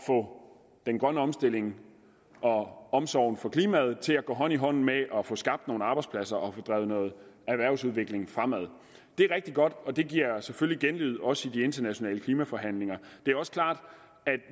få den grønne omstilling og omsorgen for klimaet til at gå hånd i hånd med at få skabt nogle arbejdspladser og få drevet noget erhvervsudvikling fremad det er rigtig godt og det giver selvfølgelig genlyd også i de internationale klimaforhandlinger det er også klart at